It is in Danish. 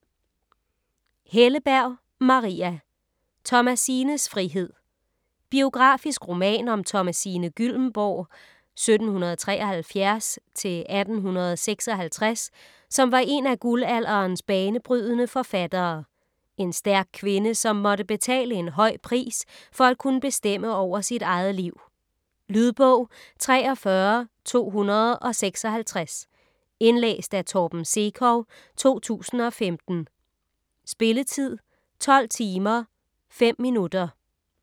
Helleberg, Maria: Thomasines frihed Biografisk roman om Thomasine Gyllembourg (1773-1856), som var en af guldalderens banebrydende forfattere. En stærk kvinde, som måtte betale en høj pris for at kunne bestemme over sit eget liv. Lydbog 43256 Indlæst af Torben Sekov, 2015. Spilletid: 12 timer, 5 minutter.